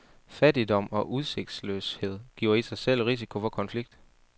Fattigdom og udsigtsløshed giver i sig selv risiko for konflikt.